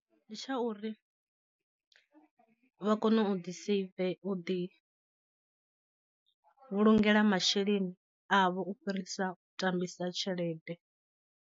Ndi tsha uri vha kone u ḓi seive u ḓi vhulungela masheleni avho u fhirisa u tambisa tshelede.